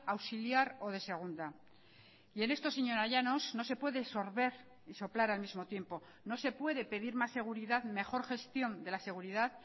auxiliar o de segunda y en esto señora llanos no se puede sorber y soplar al mismo tiempo no se puede pedir más seguridad mejor gestión de la seguridad